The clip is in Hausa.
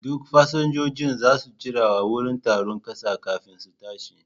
Duk fasinjojin za su jira a wurin taron ƙasa kafin su tashi.